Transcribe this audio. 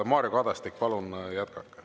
Mario Kadastik, palun jätkake.